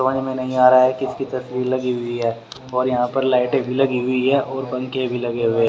समझ में नहीं आ रहा है किसकी तस्वीर लगी हुई है और यहां पर लाइटें भी लगी हुई हैं और पंखे भी लगे हुए --